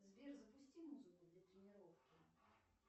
сбер запусти музыку для тренировки